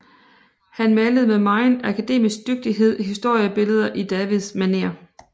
Han malede med megen akademisk dygtighed historiebilleder i Davids manér